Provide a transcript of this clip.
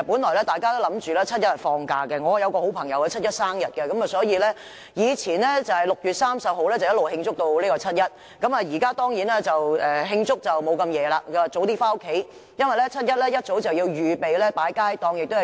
我有一位朋友的生日是7月1日，以前他會由6月30日一直慶祝至7月1日；如今，他一定不會慶祝至深夜，反而會早早回家，因為7月1日一早便要預備擺放街站和遊行。